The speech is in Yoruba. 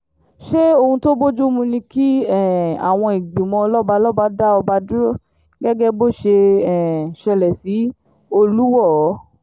ṣé ohun tó bojumu ni ki um awọn ìgbìmọ̀ lọ́balọ́ba dá ọba dúró gẹ́gẹ́ bó ṣe um ṣẹlẹ̀ sí olùwọ́ọ́